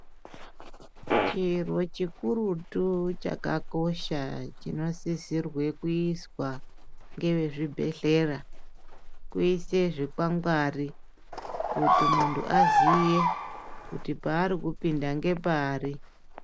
Chiro chikurutu chakakosha chinosisirwe kuiswa ngevezvibhedhlera kuise zvikangwari. kuti muntu aziye kuti paari kupinda ngepari.